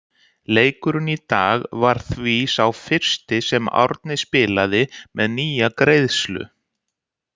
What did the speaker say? Leikurinn í dag var því sá fyrsti sem Árni spilaði með nýja greiðslu.